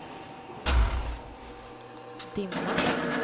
dimma